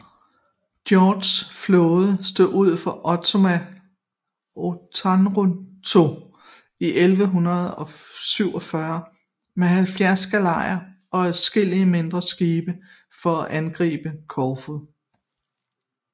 Georgs flåde stod ud fra Otranto i 1147 med 70 galejer og adskillige mindre skibe for at angribe Korfu